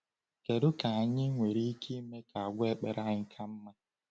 Kedu ka anyị nwere ike ime ka àgwà ekpere anyị ka mma?